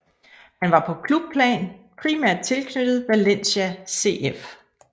Han var på klubplan primært tilknyttet Valencia CF